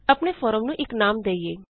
ਆਪਨੇ ਫੋਰਮ ਨੂੰ ਇਕ ਨਾਮ ਦੇਇਏ